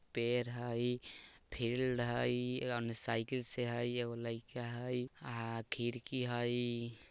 पेर हई फील्ड हई ओन्ने साइकिल से हई एगो लाइका हई अ खिड़की हई।